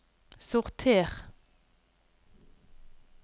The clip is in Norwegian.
sorter